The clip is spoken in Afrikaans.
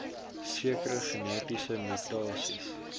sekere genetiese mutasies